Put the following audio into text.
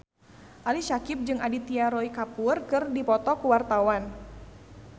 Ali Syakieb jeung Aditya Roy Kapoor keur dipoto ku wartawan